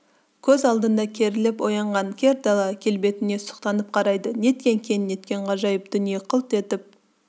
көз алдында керіліп оянған кер дала келбетіне сұқтанып қарайды неткен кең неткен ғажайып дүние қылт етіп